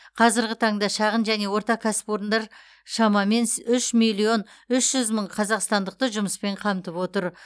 қазіргі таңда шағын және орта кәсіпорындар шамамен с үш миллион үш жүз мың қазақстандықты жұмыспен қамтып отыр